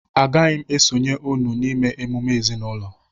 Agaghị m esonyere unu na-ịme emume ezinụlọ